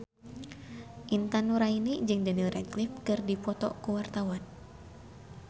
Intan Nuraini jeung Daniel Radcliffe keur dipoto ku wartawan